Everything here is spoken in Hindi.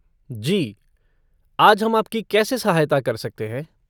जी, आज हम आपकी कैसे सहायता कर सकते हैं?